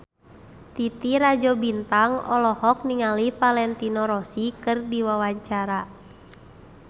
Titi Rajo Bintang olohok ningali Valentino Rossi keur diwawancara